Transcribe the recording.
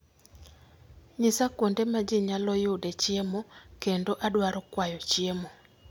Nyisa kuonde ma ji nyalo yude chiemo kendo adwaro kwayo chiemo